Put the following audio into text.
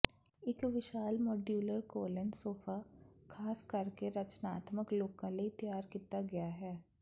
ਇੱਕ ਵਿਸ਼ਾਲ ਮੌਡਯੁਲਰ ਕੋਲੇਨ ਸੋਫਾ ਖਾਸ ਕਰਕੇ ਰਚਨਾਤਮਕ ਲੋਕਾਂ ਲਈ ਤਿਆਰ ਕੀਤਾ ਗਿਆ ਹੈ